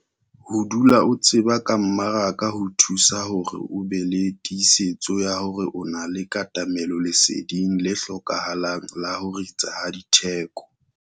Ho dula o tseba ka mmaraka ho thusa hore o be le tiisetso ya hore o na le katamelo leseding le hlokahalang la ho ritsa ha ditheko.